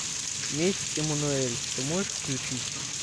месть эммануэль ты можешь включить